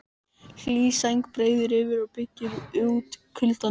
Hlý sæng breiðir yfir og byggir út kuldanum.